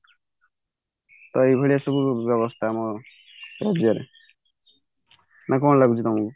ତ ଏଇଭଳିଆ ସବୁ ବ୍ୟବସ୍ତା ଆମ ଓଡିଶା ରେ ନା କଣ ଲାଗୁଛି ତମକୁ